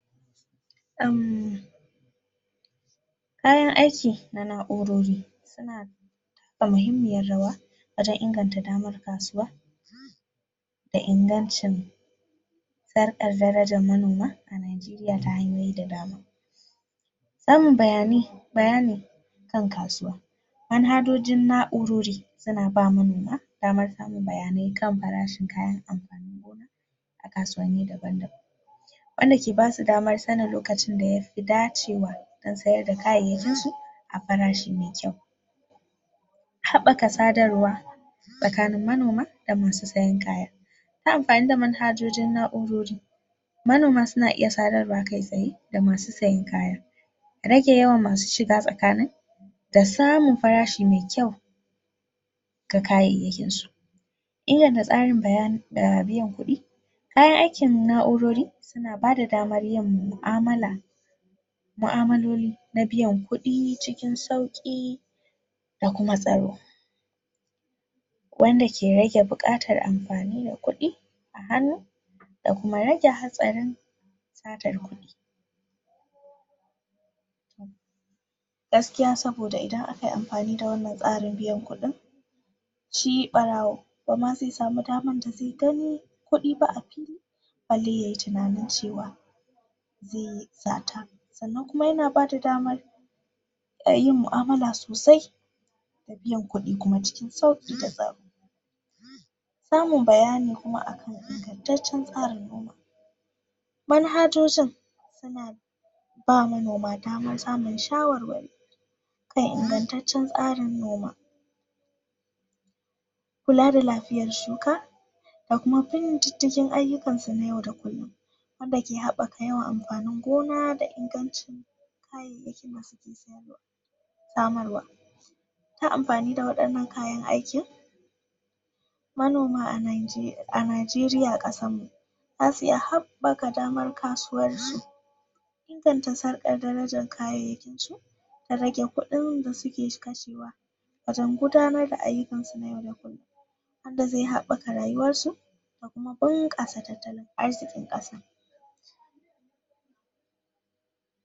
uhmmm kayan aiki na na; urori suna taka muhimmiyar rawa wajan inganta damar kasuwa da ingancin sarkar darajar manoma a Najeriya ta hanyoyi da dama samun bayanai, bayani kan kasuwa manhajojin na'urori suna bamu damar samun bayanai kan farashin kayan amfanin gona a kasuwanni daba-daban wanda ke basu damar sanin lokacin da yafi dacewa dan sayar da kayyayakinsu a farashi mai kyau haɓaka sadarwa tsakanin manoma da masu siyan kaya ta amfani da manhajojin na'urori manoma suna iya sadarwa kai tsaye da masu siyan kaya rage yawan masu shiga tsakanin da samun farashi mai kyau ga kayyayakinsu inganta tsarin biyan kuɗi kayan aikin na'urori suna bada damar yin mu'amala mu'amalaloli na biyan kuɗi cikin sauki da kuma tsaro wanda ke rage buƙatar amfani da kuɗi a hannu da kuma rage hatsarin satar kuɗi gaskiya saboda idan akayi amfani da wanan tsarin biyan kuɗin shi ɓarawo bama ze samu damar da ze gani kuɗi ba a fili bale yayi tunanin cewa ze sata sannan kuma yana bada damar yin mu'amala sosai da biyan kuɗi kuma cikin sauƙi da tsari samun bayani kuma akan ingantacen tsarin noma manhajojin suna ba manoma damar samun shawarwari kan ingantacen tsarin noma kula da lafiyar shuka da kuma bin didigin ayyukansu na yau da kullum wan dake habaka yawan amfanin gona da inganci kayyayaki masu samarwa yin amfani da wayanan kayan aikin manoma a Najeriya ƙasarmu zasu iya haɓaka damar kasuwanci inganta sarkar darajar kayyayakinsu da rage kuɗin da suke kashewa wajan gudanar da ayyukansu na yau da kullum wanda ze haɓaka rayuwarsu da kuma bunƙasa talttalin arzikin ƙasa.